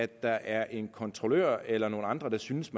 der er en kontrollør eller andre der synes